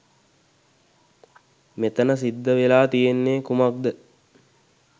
මෙතන සිද්ධ වෙලා තියෙන්නේ කුමක්ද?